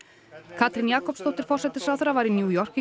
Katrín Jakobsdóttir forsætisráðherra var í New York